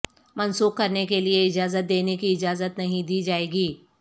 منسوخ کرنے کے لئے اجازت دینے کی اجازت نہیں دی جائے گی